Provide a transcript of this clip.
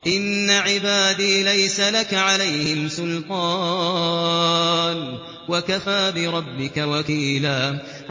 إِنَّ عِبَادِي لَيْسَ لَكَ عَلَيْهِمْ سُلْطَانٌ ۚ وَكَفَىٰ بِرَبِّكَ وَكِيلًا